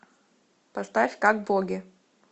поставь как боги